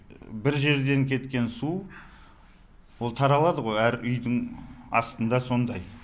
бір жерден кеткен су ол таралады ғой әр үйдің астында сондай